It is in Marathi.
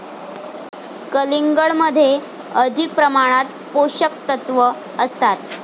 कलिंगडध्ये अधिक प्रमाणात पोषकतत्त्व असतात.